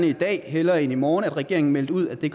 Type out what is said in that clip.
i dag hellere end i morgen at regeringen meldte ud at det